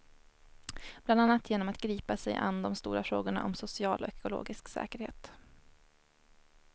Bland annat genom att gripa sig an de stora frågorna om social och ekologisk säkerhet.